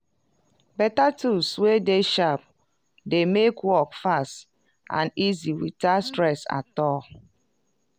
beta tools wey dey sharp dey make work fast and easy witout stress at all.